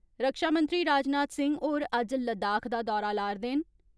रक्षामंत्री राजनाथ सिंह होर अज्ज लद्दाख दा दौरा लारदे न।